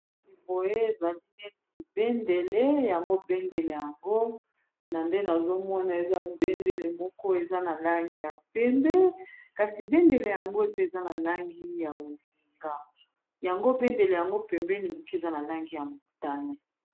boye ezali neti bendele yango bendele yango na nde nazomona eza bendele moko eza na lange ya pembe kasi bendele yango eza na langi ya bozinga yango bendele yango pembeni moke eza na langi ya mutane